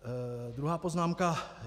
Druhá poznámka.